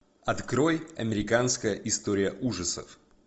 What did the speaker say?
открой американская история ужасов